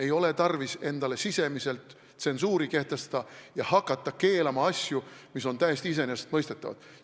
Ei ole tarvis endale sisemiselt tsensuuri kehtestada ja hakata keelama asju, mis on täiesti iseenesestmõistetavad.